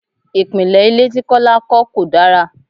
Ìpìnlè ilé tí Kọ́lá kọ́ kò dára.